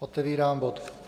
Otevírám bod